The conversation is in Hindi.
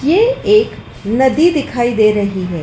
ये एक नदी दिखाई दे रही है।